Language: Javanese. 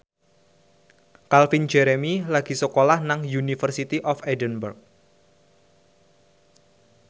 Calvin Jeremy lagi sekolah nang University of Edinburgh